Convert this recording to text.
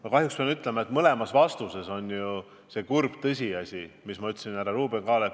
Ma kahjuks pean ütlema, et mõlema puhul on kurb tõsiasi, et neid pole suudetud eriti arendada.